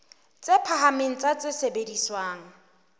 tse phahameng tsa tse sebediswang